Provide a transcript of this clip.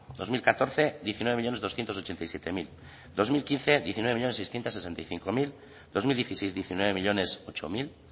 dos mil catorce diecinueve millónes doscientos ochenta y siete mil dos mil quince diecinueve millónes seiscientos sesenta y cinco mil dos mil dieciséis diecinueve millónes ocho mil